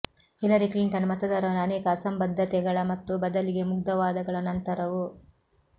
Hillary Clinton ಮತದಾರರು ಅನೇಕ ಅಸಂಬದ್ಧತೆಗಳ ಮತ್ತು ಬದಲಿಗೆ ಮುಗ್ಧ ವಾದಗಳ ನಂತರವೂ